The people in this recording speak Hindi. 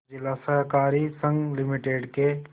जिला सहकारी संघ लिमिटेड के